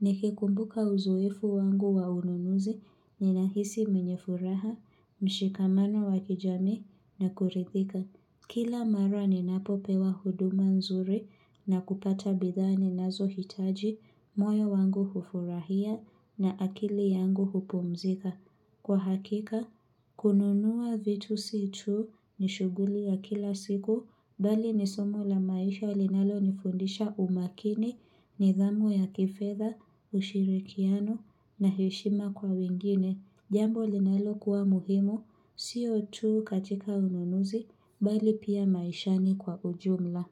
Nikikumbuka uzoefu wangu wa ununuzi, ninahisi mwenye furaha, mshikamano wakijamii na kuridhika. Kila mara ninapopewa huduma nzuri na kupata bidhaa ninazo hitaji, moyo wangu hufurahia na akili yangu hupumzika. Kwa hakika, kununuwa vitu si tu ni shuguli ya kila siku, bali ni somo la maisha linalo nifundisha umakini, nidhamu ya kifedha, ushirikiano na heshima kwa wingine. Jambo linalokuwa muhimu, sio tu katika ununuzi, bali pia maishani kwa ujumla.